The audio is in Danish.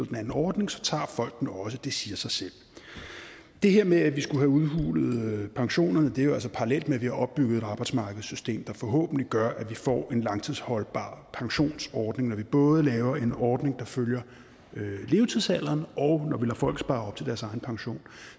den anden ordning så tager folk den også det siger sig selv det her med at vi skulle have udhulet pensionerne er jo altså parallelt med at vi har opbygget et arbejdsmarkedssystem der forhåbentlig gør at vi får en langtidsholdbar pensionsordning når vi både laver en ordning der følger levetidsalderen og når folk spare op til deres egen pension